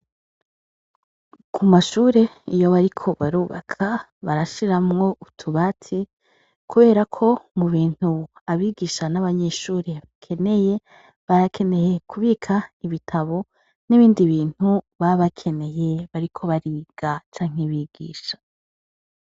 Ku mashure iyo bariko barubaka, barashiramwo utubati kubera ko mu bintu abigisha n’abanyeshure bakeneye, barakeneye kubika ibitabo n’ibindi bintu baba bakeneye bariko bariga canke bigisha.